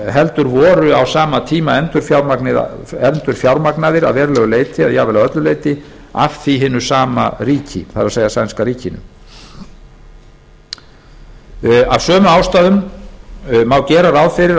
heldur voru á sama tíma endurfjármagnaðir að verulegu leyti eða jafnvel að öllu leyti af því hinu sama ríki það er sænska ríkinu af sömu ástæðum má gera ráð fyrir að